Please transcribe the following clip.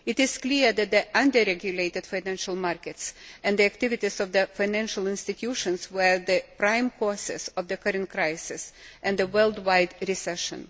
It is clear that the under regulated financial markets and the activities of the financial institutions were the prime causes of the current crisis and the worldwide recession.